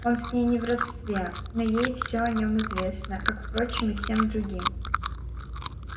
он с ней не в родстве но ей всё о нём известно как впрочем и всем другим